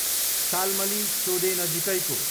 शाल्मली सोदे नजिकैको